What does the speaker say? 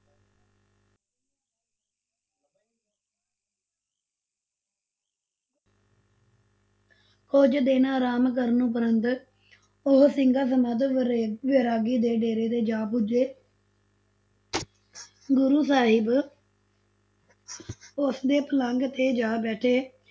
ਕੁਝ ਦਿਨ ਆਰਾਮ ਕਰਨ ਉਪਰੰਤ ਉਹ ਸਿੰਘਾਂ ਸਮੇਤ ਵੈਰਾਗੀ ਦੇ ਡੇਰੇ ਤੇ ਜਾ ਪੁੱਜੇ ਗੁਰੂ ਸਾਹਿਬ ਉਸਦੇ ਪਲੰਗ ਤੇ ਜਾ ਬੈਠੇ